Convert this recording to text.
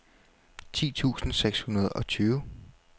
ti tusind seks hundrede og tyve